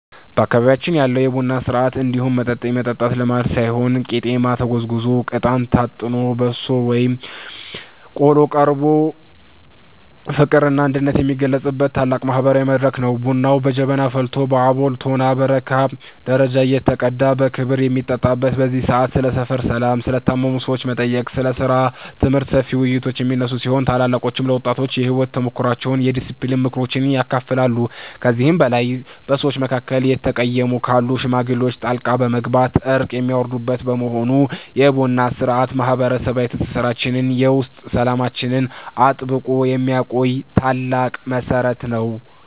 በአካባቢያችን ያለው የቡና ሥርዓት እንዲሁ መጠጥ የመጠጣት ልማድ ሳይሆን ቄጤማ ተጎዝጉዞ፣ እጣን ታጥኖና በሶ ወይም ቆሎ ቀርቦ ፍቅርና አንድነት የሚገለጽበት ታላቅ ማህበራዊ መድረክ ነው። ቡናው በጀበና ፈልቶ በአቦል፣ ቶናና በረካ ደረጃ እየተቀዳ በክብ በሚጠጣበት በዚህ ሰዓት፣ ስለ ሰፈር ሰላም፣ ስለ ታመሙ ሰዎች መጠየቅ፣ ስለ ሥራና ትምህርት ሰፊ ውይይቶች የሚነሱ ሲሆን፣ ታላላቆችም ለወጣቱ የሕይወት ተሞክሯቸውንና የዲስፕሊን ምክሮችን ያካፍላሉ። ከዚህም በላይ በሰዎች መካከል የተቀየሙ ካሉ ሽማግሌዎች ጣልቃ በመግባት እርቅ የሚያወርዱበት በመሆኑ፣ የቡና ሥርዓቱ ማህበረሰባዊ ትስስራችንንና የውስጥ ሰላማችንን አጥብቆ የሚያቆይ ታላቅ መሠረት ነው።